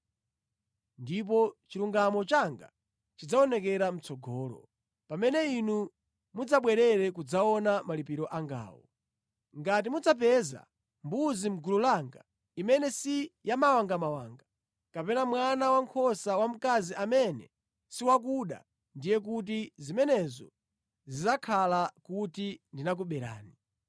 Ndipo chilungamo changa chidzaoneka mʼtsogolo, pamene inu mudzabwere kudzaona malipiro angawo. Ngati mudzapeza mbuzi mʼgulu langa imene si yamawangamawanga, kapena mwana wankhosa wamkazi amene si wakuda ndiye kuti zimenezo zidzakhala kuti ndinakuberani.”